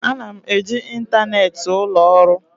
Ana m eji ịntanetị ụlọ ọrụ.